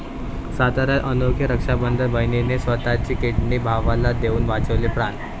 साताऱ्यात अनोखे रक्षाबंधन, बहिणीने स्वतःची किडनी भावाला देऊन वाचवले प्राण